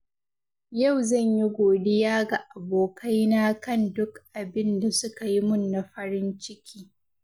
Yau zan yi godiya ga abokaina kan duk abin da suka yi mun na farin ciki.